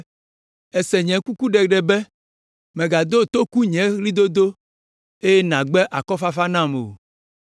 Èse nye kukuɖeɖe be, “Mègado toku nye ɣlidodo eye nàgbe akɔfafa nam o.”